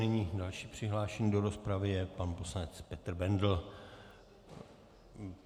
Nyní další přihlášený do rozpravy je pan poslanec Petr Bendl.